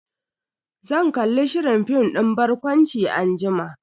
Zan kalli shirin fim din barkwanci anjima.